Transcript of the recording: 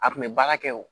A kun bɛ baara kɛ wo